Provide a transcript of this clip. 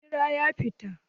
Rejistra ya fita.